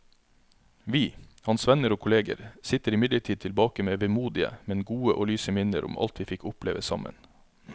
Vi, hans venner og kolleger, sitter imidlertid tilbake med vemodige, men gode og lyse minner om alt vi fikk oppleve sammen.